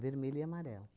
Vermelho e amarelo.